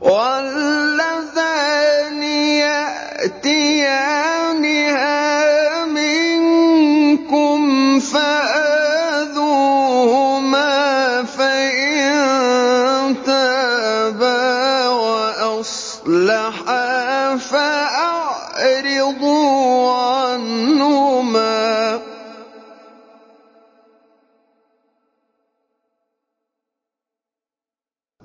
وَاللَّذَانِ يَأْتِيَانِهَا مِنكُمْ فَآذُوهُمَا ۖ فَإِن تَابَا وَأَصْلَحَا فَأَعْرِضُوا عَنْهُمَا ۗ